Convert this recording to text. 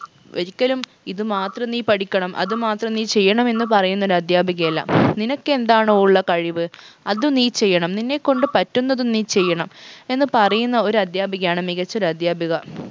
ഒരിക്കലും ഇത് മാത്രം നീ പഠിക്കണം അത് മാത്രം നീ ചെയ്യണം എന്ന് പറയുന്നൊരു അദ്ധ്യാപികയല്ല നിനക്കെന്താണോ ഉള്ള കഴിവ് അത് നീ ചെയ്യണം നിന്നെക്കൊണ്ട് പറ്റുന്നതും നീ ചെയ്യണം എന്ന് പറയുന്ന ഒരു അധ്യാപികയാണ് മികച്ചൊരു അദ്ധ്യാപിക